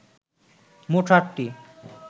মোট সাতটি